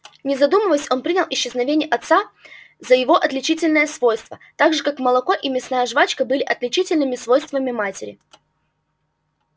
не задумываясь он принял исчезновение отца за его отличительное свойство так же как молоко и мясная жвачка были отличительными свойствами матери